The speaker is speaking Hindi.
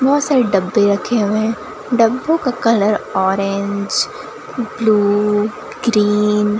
बहोत सारे डब्बे रखे हुए हैं डब्बो का कलर ऑरेंज ब्लू ग्रीन --